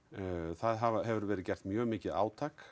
það hefur verið gert mjög mikið átak